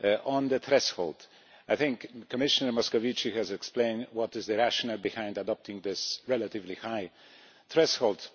On the threshold, I think Commission Muscovici has explained what is the rationale behind adopting this relatively high threshold.